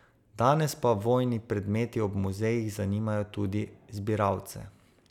Danes pa vojni predmeti ob muzejih zanimajo tudi zbiralce.